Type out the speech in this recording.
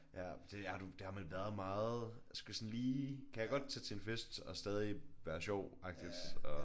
Ja det har du det har man været meget jeg skulle sådan lige kan jeg godt tage til en fest og stadig være sjov agtigt og